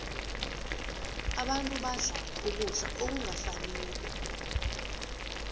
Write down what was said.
abantu badla ukudla okungafaniko